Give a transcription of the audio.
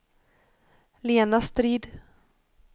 Lena Strid